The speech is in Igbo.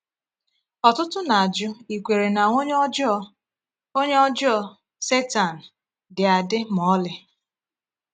Ọtụtụ na-ajụ ikwere na “onye ọjọọ,” “onye ọjọọ,” Setan, dị adị ma ọlị.